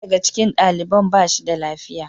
Daya daga cikin daliban ba shi da lafiya.